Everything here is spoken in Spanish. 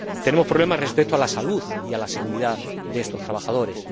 Tenemos problemas respecto a la salud y a la seguridad de estos trabajadores.